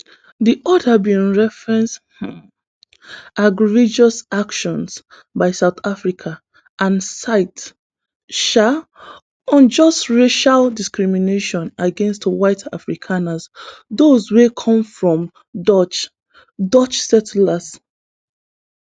di order bin reference um egregious actions by south africa and cite um unjust racial discrimination against white afrikaners those wey come from dutch dutch settlers